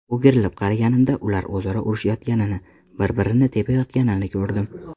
O‘girilib qaraganimda ular o‘zaro urushayotganini, bir-birini tepayotganini ko‘rdim.